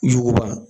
Yuguba